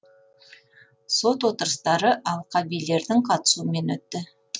сот отырыстары алқа билердің қатысуымен өтті